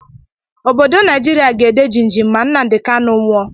Obodo Naijiria ga-ede jim jim ma Nnamdi Kanu nwụọ.